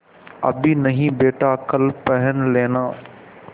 अभी नहीं बेटा कल पहन लेना